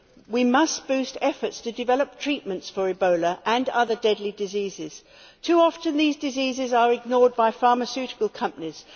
We must boost efforts to develop treatments for Ebola and other deadly diseases. Too often these diseases are ignored by pharmaceutical companies.